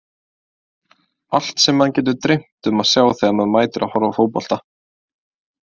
Allt sem mann getur dreymt um að sjá þegar maður mætir að horfa á fótbolta.